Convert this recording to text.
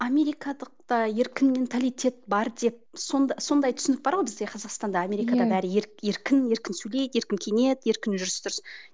американдықта еркін менталитет бар деп сондай түсінік бар ғой бізде қазақстанда америкада бәрі еркін еркін сөйлейді еркін киінеді еркін жүріс тұрыс